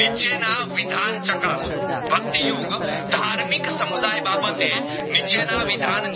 નીચે ના વિધાન ચકાસ વાટીયુગ ધાર્મિક સમુદાયે બાબતે નિચેના વિધાન